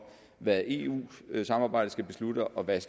hvad eu samarbejdet skal beslutte og hvad